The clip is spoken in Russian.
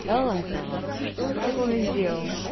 да ладно вам что он такого сделал